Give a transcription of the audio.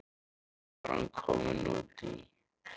Hvað var hann kominn út í?